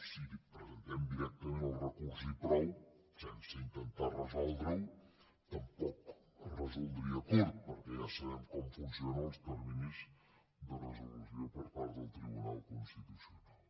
si presentem directament el recurs i prou sense intentar resoldre ho tampoc es resoldria curt perquè ja sabem com funcionen els terminis de resolució per part del tribunal constitucional